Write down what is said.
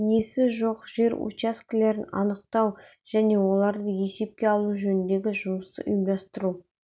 иесі жоқ жер учаскелерін анықтау және оларды есепке алу жөніндегі жұмысты ұйымдастыру